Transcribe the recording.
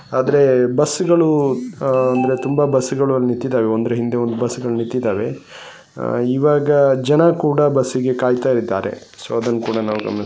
ಆದ್ರೆ ಬಸ್ಗಳು ಆಹ್ ಅಂದ್ರೆ ತುಂಬಾ ಬಸ್ಗಳು ಅಲ್ಲಿ ನಿತ್ತಿದ್ದಾವೆ ಒಂದ್ರ್ ಹಿಂದೆ ಒಂದು ಬಸ್ಗಳು ನಿಂತಿದ್ದಾವೆ ಆಹ್ ಈವಾಗ ಜನ ಕೂಡಾ ಬಸ್ಸಿಗೆ ಕಾಯಿತಾ ಇದ್ದಾರೆ ಸೊ ಅದನ್ನ ಕೂಡಾ ನಾವು ಗಮನಿಸಬಹುದು.